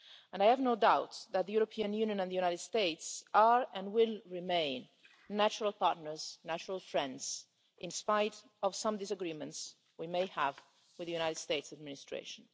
I have no doubt that the European Union and the USA are, and will remain, natural partners and natural friends in spite of some disagreements we may have with the US administration.